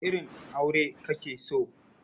Wane irin aure kake so?